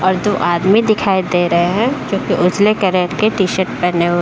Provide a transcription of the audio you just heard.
और दो आदमी दिखाई दे रहे है जो कि उजले करेक्ट के टी-शर्ट पहने हुए --